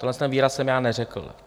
Tenhle výraz jsem já neřekl.